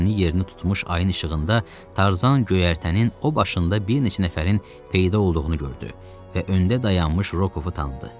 yerini tutmuş ayın işığında Tarzan göyərtənin o başında bir neçə nəfərin peyda olduğunu gördü və öndə dayanmış Rokovu tanıdı.